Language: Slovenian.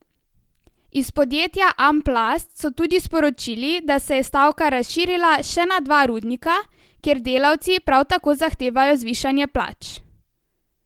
Iz podjetja Amplats so tudi sporočili, da se je stavka razširila še na dva rudnika, kjer delavci prav tako zahtevajo zvišanje plač.